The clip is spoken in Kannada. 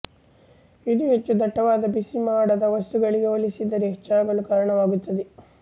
ಇದು ಹೆಚ್ಚು ದಟ್ಟವಾದ ಬಿಸಿಮಾಡದ ವಸ್ತುಗಳಿಗೆ ಹೋಲಿಸಿದರೆ ಹೆಚ್ಚಾಗಲು ಕಾರಣವಾಗುತ್ತದೆ